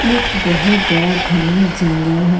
एक बहुत बड़ा घना जंगल है।